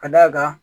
Ka d'a kan